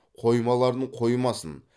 қоймаларын қоймасын